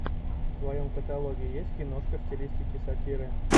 в твоем каталоге есть киношка в стилистике сатиры